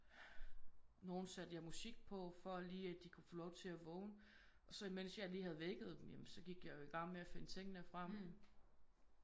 Nogen satte jeg musik på for lige at de kunne få lov til at vågne og så imens jeg lige fik vækket dem ja men så gik jeg jo igang med at finde tingene frem